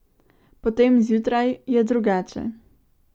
Potem, zjutraj, je drugače ...